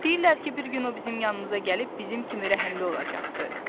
Deyirlər ki, bir gün o bizim yanımıza gəlib bizim kimi rəhimli olacaqdı.